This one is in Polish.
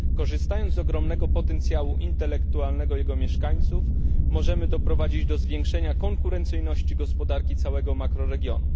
Korzystając z ogromnego potencjału intelektualnego jego mieszkańców, możemy doprowadzić do zwiększenia konkurencyjności gospodarki całego makroregionu.